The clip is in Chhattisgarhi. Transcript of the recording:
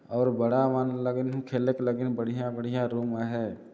और बड़ा मन लगिन है खेलेक लगिन है बढ़िया-बढ़िया रूम अ है ।